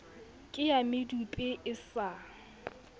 ke ya medupe e sa